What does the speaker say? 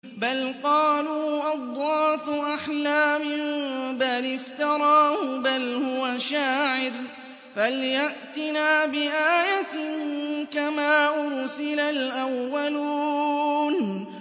بَلْ قَالُوا أَضْغَاثُ أَحْلَامٍ بَلِ افْتَرَاهُ بَلْ هُوَ شَاعِرٌ فَلْيَأْتِنَا بِآيَةٍ كَمَا أُرْسِلَ الْأَوَّلُونَ